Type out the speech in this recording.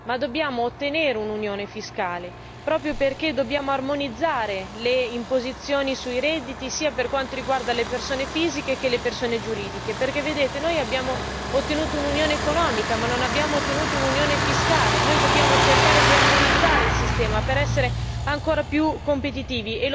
Ma è necessario raggiungere un'Unione fiscale proprio perché dobbiamo armonizzare le imposizioni sui redditi sia per quanto riguarda le persone fisiche che le persone giuridiche. Infatti, abbiamo ottenuto un'Unione economica ma non un'Unione fiscale e dobbiamo cercare di armonizzare il sistema per essere ancora più competitivi.